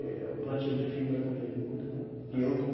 É um plantio de fibra também, muito bom. E eu estou